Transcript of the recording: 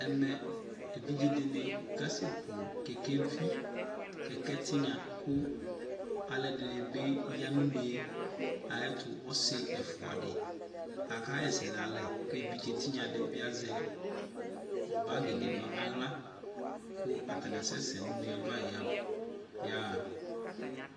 Ɛmɛ evidze de ne kasɛ ku kɛkɛvi, kɛkɛ tenya ko alɔde ne be ya no une ayeto Ɔse ɛfua de aka ha ɛsɛ nalɛ ke evidze tenya de be azɛ bagi de no ahla ko atane asɛsɛ no une ava yab, yaha